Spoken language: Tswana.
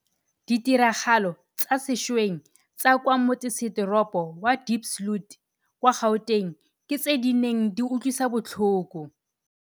Ditiragalo tsa sešweng tsa kwa motsesetoropo wa Diepsloot kwa Gauteng ke tse di neng di utlwisa botlhoko.